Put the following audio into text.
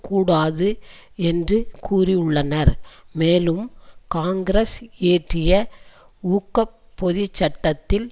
கூடாது என்று கூறியுள்ளனர் மேலும் காங்கிரஸ் இயற்றிய ஊக்கப்பொதிச் சட்டத்தில்